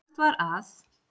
Sagt var að